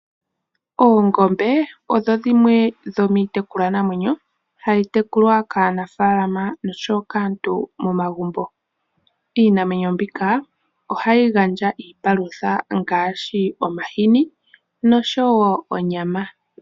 Oongombe odho dhimwe dhomiitekulwanamwenyo hayi tekulwa kaanafalama nosho wo kaantu momagumbo. Iinamwenyo mbika ohayi gandja iipalutha ngaashi omahini nosho wo onyama.